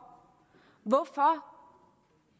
hvorfor